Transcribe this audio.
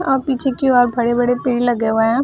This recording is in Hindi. अ पीछे की ओर बड़े-बड़े पेड़ लगे हुए है ।